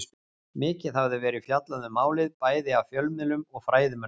Mikið hafði verið fjallað um málið, bæði af fjölmiðlum og fræðimönnum.